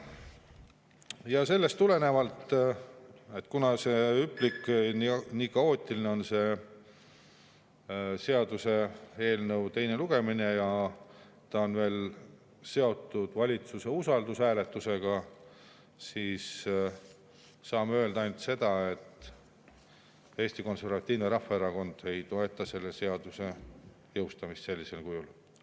Ja sellest tulenevalt, kuna see seaduseelnõu teine lugemine on nii hüplik ja kaootiline ja ta on veel seotud valitsuse usalduse hääletusega, siis saame öelda ainult seda, et Eesti Konservatiivne Rahvaerakond ei toeta selle seaduse jõustamist sellisel kujul.